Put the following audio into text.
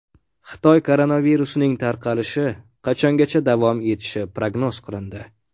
Xitoy koronavirusining tarqalishi qachongacha davom etishi prognoz qilindi.